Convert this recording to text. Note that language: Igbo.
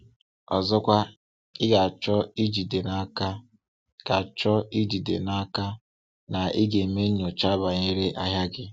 Ọzọkwa, ị ga-achọ ijide n’aka ga-achọ ijide n’aka na ị ga-eme nnyocha banyere ahịa gị.